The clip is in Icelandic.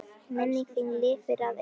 Minning þín lifir að eilífu.